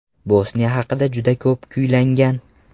Bosniya haqida juda ko‘p kuylangan.